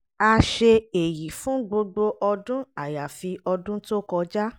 a ṣe èyí fún gbogbo ọdún àyàfi ọdún tó kọjá